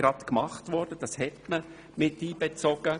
Gerade diese wurde mit einbezogen.